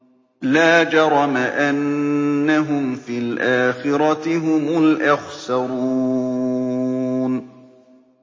لَا جَرَمَ أَنَّهُمْ فِي الْآخِرَةِ هُمُ الْأَخْسَرُونَ